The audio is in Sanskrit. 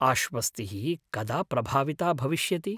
आश्वस्तिः कदा प्रभाविता भविष्यति?